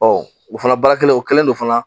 o fana baara kelen o kɛlen don fana